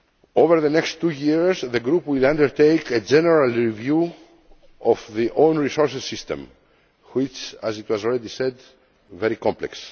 Over the next two years the group will undertake a general review of the own resources system which is, as it has already been said, very complex.